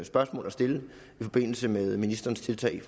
spørgsmål at stille i forbindelse med ministerens tiltag